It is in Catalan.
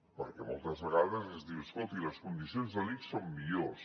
perquè moltes vegades es diu escolti les condicions de l’ics són millors